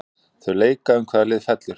Þau leika um hvaða lið fellur.